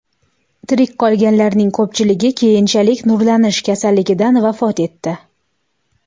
Tirik qolganlarning ko‘pchiligi keyinchalik nurlanish kasalligidan vafot etdi.